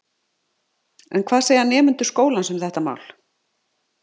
En hvað segja nemendur skólans um þetta mál?